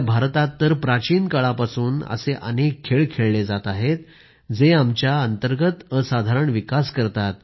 भारतात तर प्राचीन काळापासून असे अनेक खेळ खेळले जात आहेत जे आमच्या अंतर्गत असाधारण विकास करतात